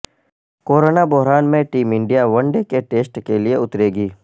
corona بحران میں team India one day کے ٹسٹ کے لئے اترے گی